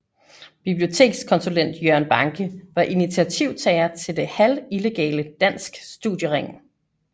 Bibliotekskonsulent Jørgen Banke var initiativtager til det halvillegale Dansk Studiering